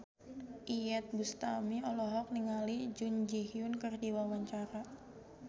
Iyeth Bustami olohok ningali Jun Ji Hyun keur diwawancara